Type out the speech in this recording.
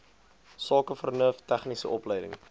sakevernuf tegniese opleiding